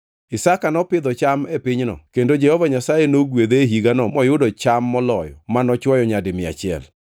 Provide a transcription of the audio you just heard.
Isaka nopidho cham e pinyno kendo Jehova Nyasaye nogwedhe e higano moyudo cham moloyo manochwoyo nyadi mia achiel.